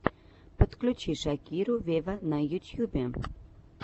подключи шакиру вево на ютьюбе